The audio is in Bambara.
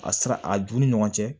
A sira a d'u ni ɲɔgɔn cɛ